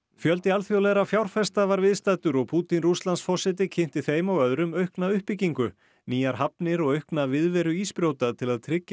fjöldi alþjóðlegra fjárfesta var viðstaddur og Pútín Rússlandsforseti kynnti þeim og öðrum aukna uppbyggingu nýjar hafnir og aukna viðveru ísbrjóta til að tryggja